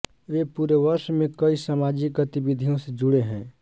वे पूरे वर्ष में कई सामाजिक गतिविधियों से जुड़े हैं